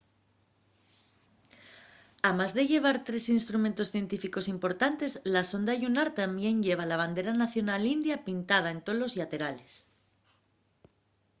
amás de llevar tres instrumentos científicos importantes la sonda llunar tamién lleva la bandera nacional india pintada en tolos llaterales